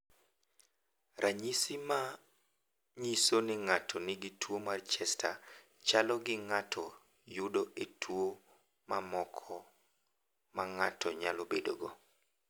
"Ranyisi ma nyiso ni ng’ato nigi tuwo mar Chester chalo gi ma ng’ato yudo e tuwo mamoko ma ng’ato nyalo bedogo."